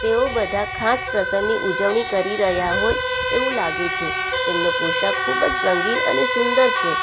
તેઓ બધા ખાસ પ્રસંગની ઉજવણી કરી રહ્યા હોય એવું લાગે છે તેમનો પોશાક ખૂબ જ રંગીન અને સુંદર છે.